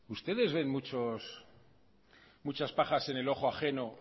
ustedes ven muchas pajas en el ojo ajeno